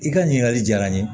I ka ɲininkali diyara n ye